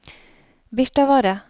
Birtavarre